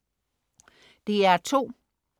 DR2: